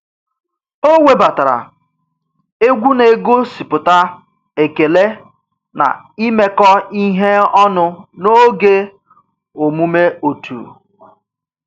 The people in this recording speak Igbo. O webatara egwu na-egosipụta ekele na imekọ ihe ọnụ n'oge omume otu